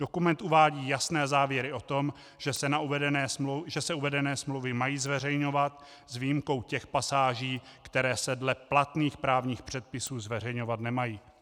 Dokument uvádí jasné závěry o tom, že se uvedené smlouvy mají zveřejňovat s výjimkou těch pasáží, které se dle platných právních předpisů zveřejňovat nemají.